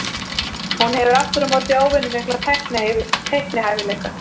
Hún hefur aftur á móti óvenju mikla teiknihæfileika.